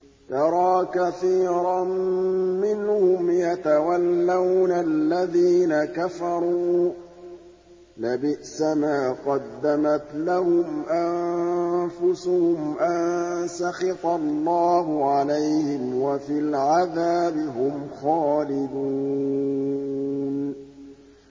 تَرَىٰ كَثِيرًا مِّنْهُمْ يَتَوَلَّوْنَ الَّذِينَ كَفَرُوا ۚ لَبِئْسَ مَا قَدَّمَتْ لَهُمْ أَنفُسُهُمْ أَن سَخِطَ اللَّهُ عَلَيْهِمْ وَفِي الْعَذَابِ هُمْ خَالِدُونَ